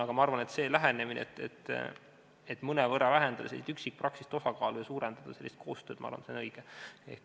Aga minu arvates on see lähenemine, et mõnevõrra vähendada üksikpraksise osakaalu ja suurendada koostööd, õigem.